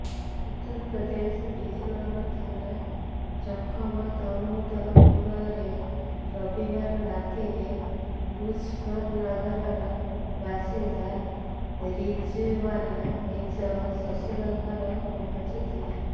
ଉତ୍ତରପ୍ରଦେଶ ବିଜନୌର ଥାନା ଚକମଦମୁଦପୁରରେ ରବିବାର ରାତିରେ ମୁଜଫରନଗରର ବାସିନ୍ଦା ରିଜଓ୍ବାନା ନିଜ ଶ୍ବଶୁର ଘର ପହଞ୍ଚିଥିଲା